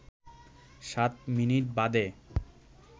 সাত মিনিট বাদে